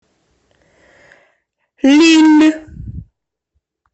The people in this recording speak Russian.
лилль